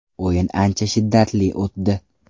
O‘yin ancha shiddatli o‘tdi.